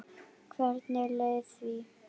Hvernig leið því?